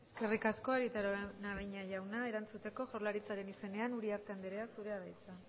eskerrik asko arieta araunabeña jauna erantzuteko jaurlaritzaren izenean uriarte andrea zurea da hitza